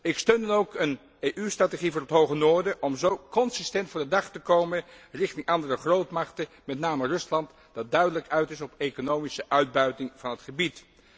Ik steun dan ook een EU strategie voor het hoge noorden om zo consistent voor de dag te komen richting andere grootmachten, met name Rusland dat duidelijk uit is op economische uitbuiting van het gebied.